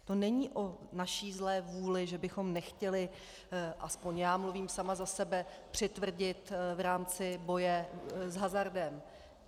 To není o naší zlé vůli, že bychom nechtěli, aspoň já mluvím sama za sebe, přitvrdit v rámci boje s hazardem...